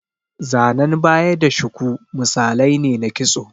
Zanan baya da shuku misalai ne na kitso.